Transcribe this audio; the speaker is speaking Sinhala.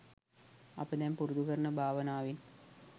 අප දැන් පුරුදු කරන භාවනාවෙන්